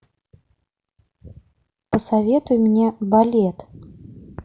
посоветуй мне балет